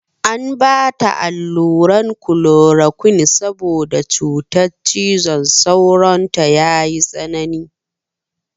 An mata alluran klorokwin saboda cutar cizon sauron ta ya yi tsanani.